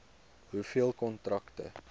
hoeveel kontrakte